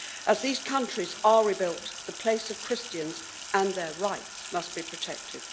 As these countries are rebuilt, the place of Christians and their rights must be protected.